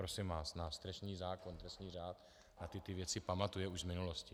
Prosím vás, náš trestní zákon, trestní řád na tyto věci pamatuje už v minulosti.